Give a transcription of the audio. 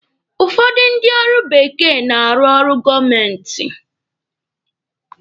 Ụfọdụ ndị ọrụ bekee na-arụ ọrụ gọọmenti.